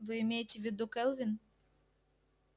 вы имеете в виду кэлвин